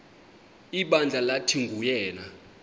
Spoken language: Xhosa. ibandla lathi nguyena